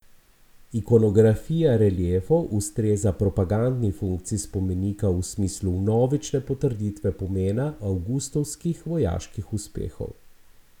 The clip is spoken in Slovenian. Ikonografija reliefov ustreza propagandni funkciji spomenika v smislu vnovične potrditve pomena Avgustovskih vojaških uspehov.